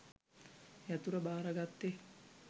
යතුර භාරගත්තෙ?